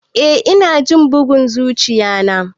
Eh ina jin bugun zuchiya na.